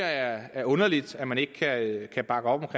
er underligt at man ikke kan bakke op